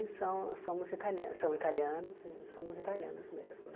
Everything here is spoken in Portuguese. São somos italianos somos italianos e somos italianos mesmo, né?